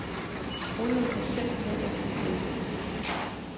Olien kan simpelt hen ikke løbe ud.